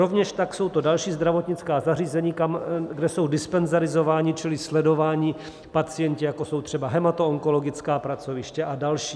Rovněž tak jsou to další zdravotnická zařízení, kde jsou dispenzarizováni čili sledováni pacienti, jako jsou třeba hematoonkologická pracoviště a další.